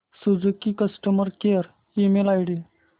Suzuki customer care email ID